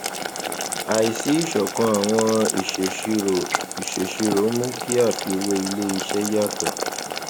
àìsí ìṣọkan àwọn ìṣèṣirò ìṣèṣirò mú kí àfiwé iléisé yàtọ